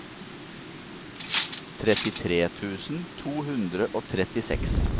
trettitre tusen to hundre og trettiseks